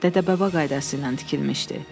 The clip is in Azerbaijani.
Dədə-baba qaydası ilə tikilmişdi.